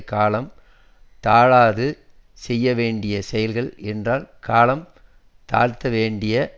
காலம் தாழாது செய்ய வேண்டிய செயல்கள் என்றால் காலம் தாழ்த்த வேண்டிய